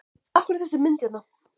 Af hverju er þessi mynd hérna?